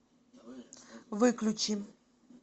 выключи